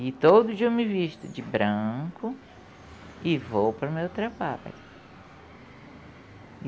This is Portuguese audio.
E todo dia eu me visto de branco e vou para o meu trabalho.